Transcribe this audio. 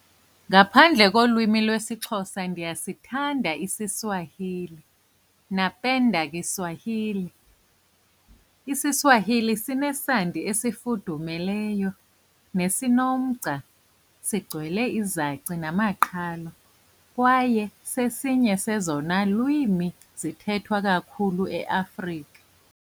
Ngaphandle kolwimi lwesiXhosa ndiyasithanda isiSwahili napenda kiSwahili. isiSwahili sinesandi esifundumeleyo nesinomgca. Sigcwele izaci namaqhalo kwaye sesinye sezona lwimi zithethwa kakhulu eAfrika.